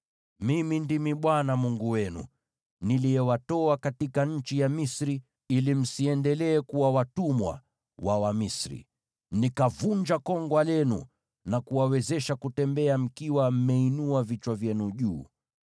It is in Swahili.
Mimi ndimi Bwana Mungu wenu, niliyewatoa katika nchi ya Misri ili msiendelee kuwa watumwa wa Wamisri, nikavunja kongwa lenu, na kuwawezesha kutembea mkiwa mmeinua vichwa vyenu juu.